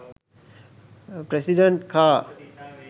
president car